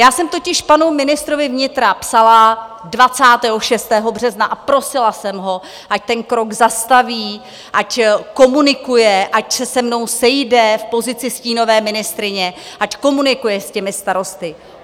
Já jsem totiž panu ministrovi vnitra psala 26. března a prosila jsem ho, ať ten krok zastaví, ať komunikuje, ať se se mnou sejde v pozici stínové ministryně, ať komunikuje s těmi starosty.